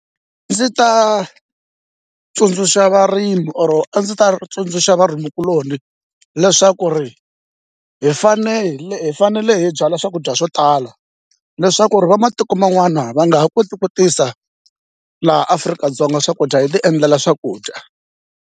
Ndzi ta tsundzuxa varimi or a ndzi ta tsundzuxa vanhukuloni leswaku ri hi fanele hi fanele hi byala swakudya swo tala leswaku ri va matiko man'wana va nga ha koti ku tisa laha Afrika-Dzonga swakudya hi ti endlela swakudya.